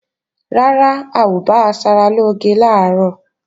Rárá, a ò bá asaralóge làárọ̀